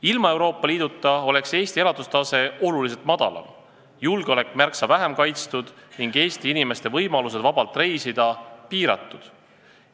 Ilma Euroopa Liiduta oleks Eesti elatustase oluliselt madalam, julgeolek märksa vähem kaitstud ning Eesti inimeste võimalused vabalt reisida piiratud.